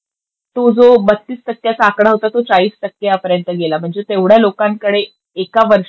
तो जो बत्तीस टक्क्याचा आकडा होता तो चाळीस टक्क्यापर्यन्त गेला. म्हणजे तेव्हढ्या लोकांकडे एका वर्षात